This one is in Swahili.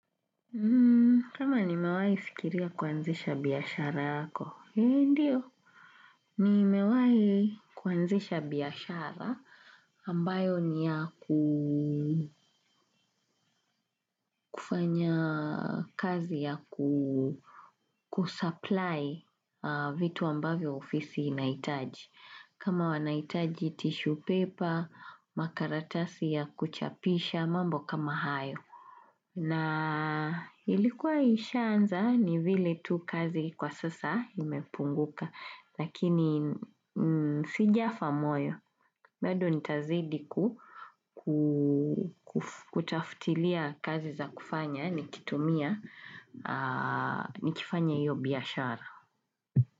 Kama nimewahi fikiria kuanzisha biashara yako, ndiyo. Nimewahi kuanzisha biashara ambayo ni ya ku kufanya kazi ya ku kusupply vitu ambavyo ofisi inahitaji. Kama wanahitaji tissue paper, makaratasi ya kuchapisha, mambo kama hayo. Na ilikuwa ishanza ni vile tu kazi kwa sasa imepunguka, lakini sijafa moyo. Baado nitazidi ku ku kutafutilia kazi za kufanya, nikitumia, nikifanya iyo biashara.